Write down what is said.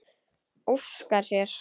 Óskar sér.